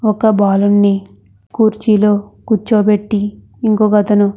ఒక బాలుడుని కుర్చిల కుర్చబెట్టి ఇంకొకతను --